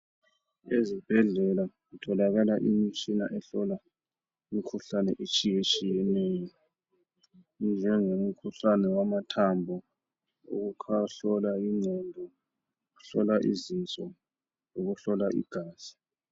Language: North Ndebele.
Ezibhedlela kutholakala imitshina ehlola imikhuhlane etshiyetshiyeneyo . Njenge umkhuhlane wamathambo ukuhlola ,weqondo ukuhlola izinso lokuhlola igazi.